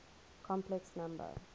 complex number